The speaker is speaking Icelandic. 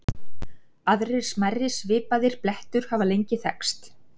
Aðrir smærri svipaðir blettur hafa lengi þekkst.